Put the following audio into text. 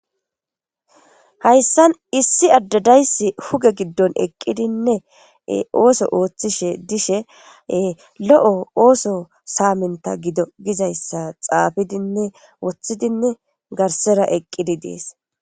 Hayssan issi addadayssi huge giddon eqqidinne ooso ooththishe dishe lo'o ooso saaminta gido gizayssa xaafidinne woththidinne garsera eqqidi dees.